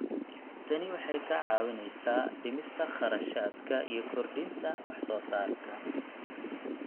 Tani waxay kaa caawinaysaa dhimista kharashaadka iyo kordhinta wax soo saarka.